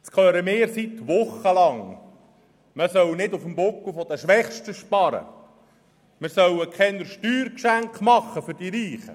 Wir hören seit Wochen, man solle nicht auf dem Buckel der Schwächsten sparen, wir sollen keine Steuergeschenke an die Reichen machen.